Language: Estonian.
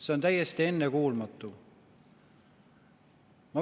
See on täiesti ennekuulmatu.